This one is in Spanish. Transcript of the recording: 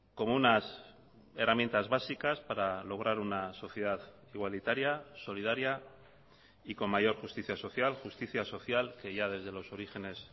como unas herramientas básicas para lograr una sociedad igualitaria solidaria y con mayor justicia social justicia social que ya desde los orígenes